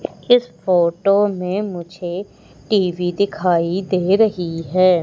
इस फोटो में मुझे टी_वी दिखाई दे रही है।